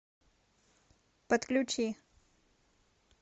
подключи